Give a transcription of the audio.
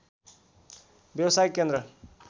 व्यवसायिक केन्द्र